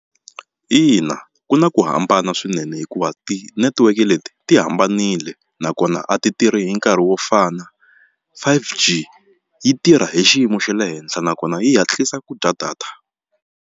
Ina, ku na ku hambana swinene hikuva ti-network leti ti hambanile nakona a ti tirhi hi nkarhi wo fana five G yi tirha hi xiyimo xa le henhla nakona yi hatlisa ku dya data.